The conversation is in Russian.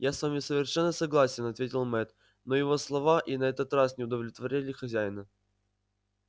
я с вами совершенно согласен ответил мэтт но его слова и на этот раз не удовлетворили хозяина